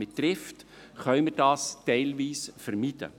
Mit Trift können wir dies teilweise vermeiden.